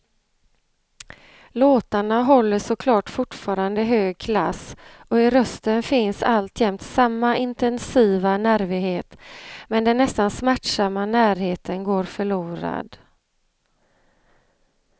Låtarna håller såklart fortfarande hög klass och i rösten finns alltjämt samma intensiva nervighet, men den nästan smärtsamma närheten går förlorad.